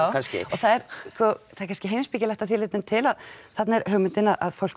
kannski já það er kannski heimspekilegt að því leitinu til að þarna er hugmyndin að fólk